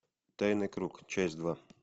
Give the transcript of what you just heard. тайный круг часть два